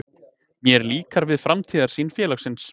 Mér líkar við framtíðarsýn félagsins.